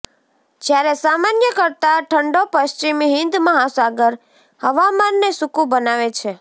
જ્યારે સામાન્ય કરતાં ઠંડો પશ્ચિમ હિંદ મહાસાગર હવામાનને સૂકું બનાવે છે